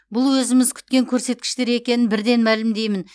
бұл өзіміз күткен көрсеткіштер екенін бірден мәлімдеймін